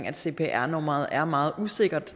at cpr nummeret er meget usikkert